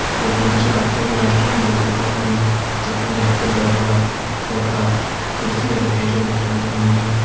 Photo मा जी आप ते एक रेस्टॉरेंट होल दिखेण लग्युं जख मा जी आप ते बड़ा बड़ा सोफा कुर्सी अर मेज होल दिखेण कु मिल लगी।